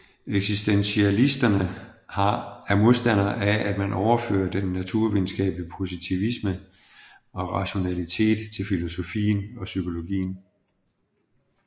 Eksistentialisterne er modstandere af at man overfører den naturvidenskabelige positivisme og rationalitet til filosofien og psykologien